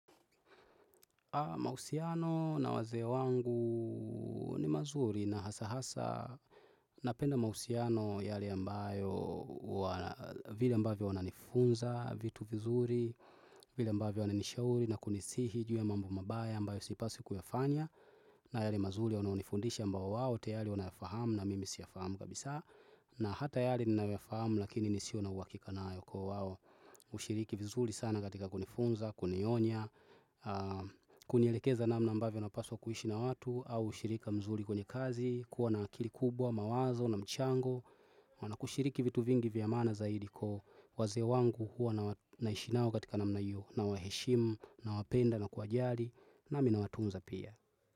Mahusiano na wazee wangu ni mazuri na hasa hasa napenda mausiano yale ambayo vile ambavyo wananifunza vitu vizuri, vile ambavyo wananishauri na kunisihi ju ya mambo mabaya ambayo sipaswi kuyafanya na yale mazuri wanao nifundisha ambao wao tayari wanafahamu na mimi siyafahamu kabisa na hata yale ninayo fahamu lakini nisio na hakika nayo kwa wao hushiriki vizuri sana katika kunifunza, kunionya, kunielekeza namna ambavyo napaswa kuishi na watu au ushirika mzuri kwenye kazi kuwa na akili kubwa, mawazo na mchango wana kushiriki vitu vingi vya maana zaidi kwa wazee wangu huwa naishi nao katika namna hiyo nawaheshimu, nawapenda, na kuwajali nami nawatunza pia.